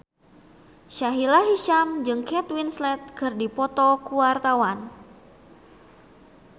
Sahila Hisyam jeung Kate Winslet keur dipoto ku wartawan